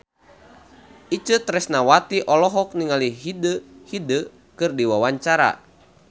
Itje Tresnawati olohok ningali Hyde keur diwawancara